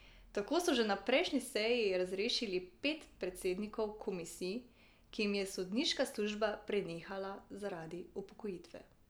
Tako so že na prejšnji seji razrešili pet predsednikov komisij, ki jim je sodniška služba prenehala zaradi upokojitve.